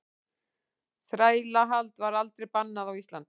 Þrælahald var aldrei bannað á Íslandi.